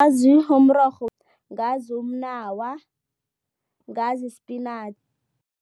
Ngazi umrorho, ngazi umnawa, ngazi